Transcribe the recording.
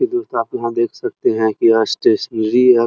तो दोस्तों आप यहाँ देख सकते हैं की यहाँ स्टेशनरी --